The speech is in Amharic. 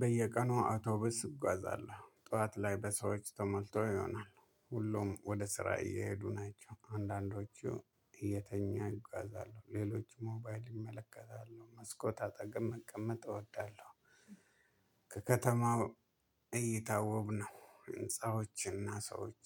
በየቀኑ አውቶብስ እጓዛለሁ ጠዋት ላይ በሰዎች ተሞልተው ይሆናል ሁሉም ወደ ስራ እየሄዱ ናቸው አንዳንዶቹ እየተኛ ይጓዛሉ ሌሎች ሞባይል ይመለከታሉ መስኮት አጠገብ መቀመጥ እወዳለሁ። ከከተማው እይታ ወብ ነው ህንፃዎችና ሰዎች።